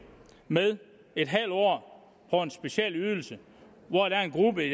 med en halv år på en speciel ydelse hvor der er en gruppe